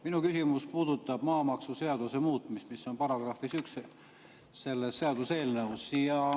Minu küsimus puudutab maamaksuseaduse muutmist, mis on §-s 1 selles seaduseelnõus.